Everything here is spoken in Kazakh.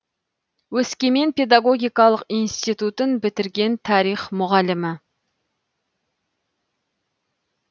өскемен педагогикалық институтын бітірген тарих мұғалімі